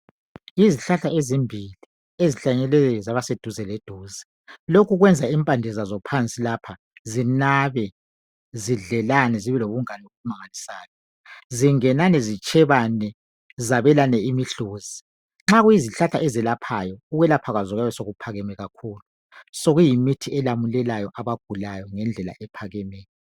Yizihlahla ezimbili ezihlanyelwe zaba seduze leduze, lokhu kwenza impande zazo phansi lapha zinabe, zidlelane, zibe lobungane obumangalisayo, zingenane zitshebane zabelane imihluzi. Nxa kuyizihlahla ezelaphayo, ukwelapha kwazo kuyabe sokuphakeme kakhulu sokuyimithi elamulelayo abagulayo ngendlela ephakemeyo